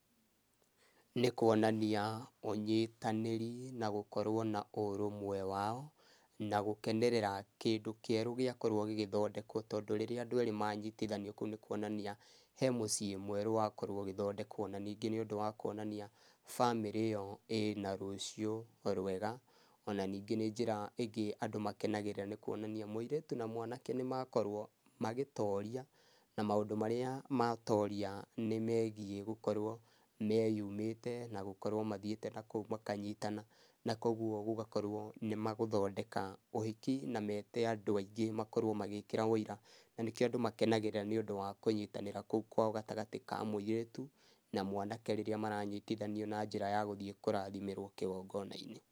Nĩ kuonania, ũnyitanĩri na gũkorwo na ũrũmwe wao, na gũkenerera kĩndũ kĩerũ gĩakorwo gĩgĩthondekwo tondũ rĩrĩa andũ erĩ manyitithanio kũu nĩ kuonania, he mũciĩ mwerũ wakorwo ũgĩthondekwo. Na ningĩ nĩ ũndũ wa kuonania bamĩrĩ ĩyo ĩna rũciũ rwega, ona ningĩ nĩ njĩra ĩngĩ andũ makenagĩra nĩ kuonania mũirĩtu na mwanake nĩ makorwo magĩtoria, na maũndũ marĩa matoria nĩ megiĩ gũkorwo meyumĩte, na gũkorwo mathiĩte na kũu makanyitana. Na koguo gũgakorwo nĩ magũthondeka ũhiki, na mete andũ aingĩ makorwo magĩkĩro ũira. Na nĩkĩo andũ makenagĩrĩra nĩ ũndũ wa kũnyitanĩra kũu kwao gatagatĩ ka mũirĩtu na mwanake rĩrĩa maranyitithanio na njĩra ya gũthiĩ kũrathimĩrwo kĩgongona-inĩ.